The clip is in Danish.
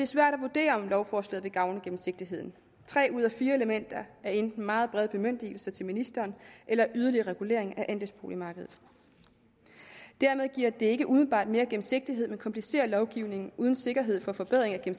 svært at vurdere om lovforslaget vil gavne gennemsigtigheden tre ud af fire elementer er enten meget brede bemyndigelser til ministeren eller yderligere regulering af andelsboligmarkedet dermed giver det ikke umiddelbart mere gennemsigtighed men komplicerer lovgivningen uden sikkerhed for forbedring af